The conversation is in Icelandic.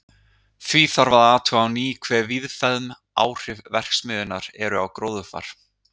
Því þarf að athuga á ný hve víðfeðm áhrif verksmiðjunnar eru á gróðurfar.